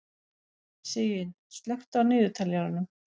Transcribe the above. Sigyn, slökktu á niðurteljaranum.